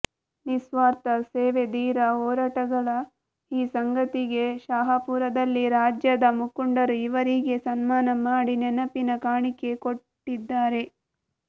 ನಿಸ್ವಾರ್ಥ ಸೇವೆಧೀರ ಹೋರಾಟಗಳ ಈ ಸಂಗಾತಿಗೆ ಶಾಹಪೂರದಲ್ಲಿ ರಾಜ್ಯದ ಮುಖಂಡರು ಇವರಿಗೆ ಸನ್ಮಾನ ಮಾಡಿ ನೆನಪಿನ ಕಾಣಿಗೆ ಕೊಟ್ಟಿದ್ದಾರೆ